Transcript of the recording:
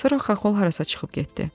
Sonra Xaxol harasa çıxıb getdi.